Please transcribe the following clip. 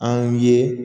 An ye